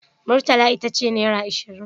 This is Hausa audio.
Murtala ita ce naira ashirin.